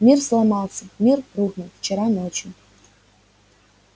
мир сломался мир рухнул вчера ночью